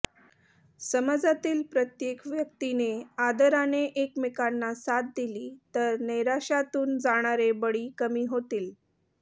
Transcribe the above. समाजातील प्रत्येक व्यक्तीने आदराने एकमेकांना साथ दिली तर नैराश्यातून जाणारे बळी कमी होतील